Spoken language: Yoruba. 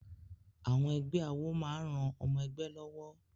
Àwọn ẹgbẹ́ àwọ máa ran ọmọ-ẹgbẹ́ lọ́wọ́.